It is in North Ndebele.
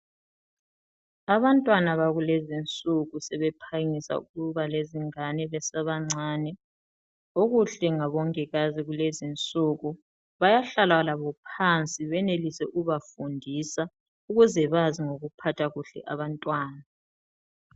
Abantwana bakulezinsuku sebephangisa ukuba lezingane besabancane. Okuhle ngabongikazi kulezinsuku bayahlala labo phansi benelise ukubafundisa ukuze bazi ukuphatha kuhle abantwana.